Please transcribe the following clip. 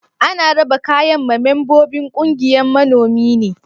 Ana raba kayan ma membobin ƙungiyan manomi ne?